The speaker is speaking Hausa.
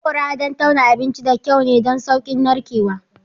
Haƙora don tauna abinci da kyau ne don sauƙin narkewa.